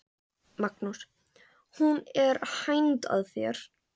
Magnús: Hún er hænd að þér?